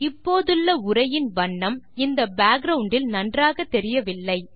இப்போதுள்ள உரையின் வண்ணம் இந்த பேக்கிரவுண்ட் இல் நன்றாக தெரியவில்லை